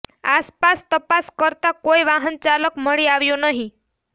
આસપાસ તપાસ કરતા કોઈ વાહન ચાલક મળી આવ્યો નહિ